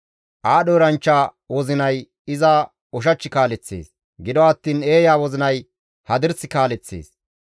Aadho eranchcha wozinay iza ushach kaaleththees; gido attiin eeya wozinay hadirs kaaleththees.